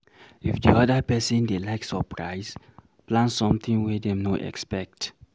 if di oda person dey like surprise, plan something wey dem no expect